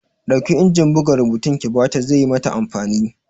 Ɗauki injin buga rubutun ki bata! ze yi mata amfani!